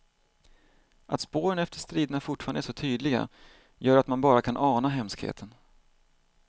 Att spåren efter striderna fortfarande är så tydliga gör att man bara kan ana hemskheten.